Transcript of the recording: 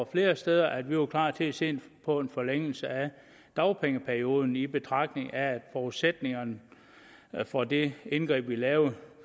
flere steder at vi var klar til at se på en forlængelse af dagpengeperioden i betragtning af at forudsætningerne for det indgreb vi lavede